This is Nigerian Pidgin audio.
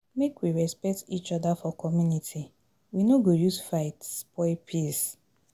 Make we respect each other for community, we no go use fight spoil peace.